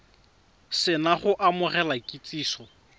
se na go amogela kitsiso